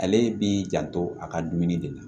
Ale b'i janto a ka dumuni de la